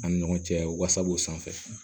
An ni ɲɔgɔn cɛ wasab'o sanfɛ